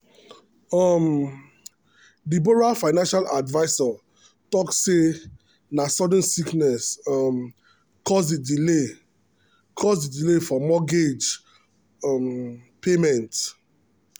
um the borrower financial adviser talk say na sudden sickness um cause the delay cause the delay for mortgage um payment.